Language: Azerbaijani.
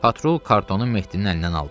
Patrul kartonu Mehdinin əlindən aldı.